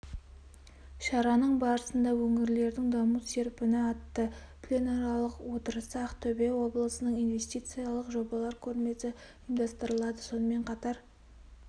шараның барысында өңірлердің даму серпіні атты пленарлық отырысы ақтөбе облысының инвестициялық жобалар көрмесі ұйымдастырылады сонымен қатар